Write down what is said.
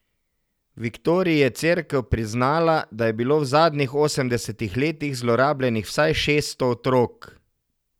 V Viktorji je cerkev priznala, da je bilo v zadnjih osemdesetih letih zlorabljenih vsaj šeststo otrok.